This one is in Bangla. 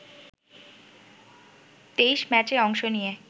২৩ম্যাচে অংশ নিয়ে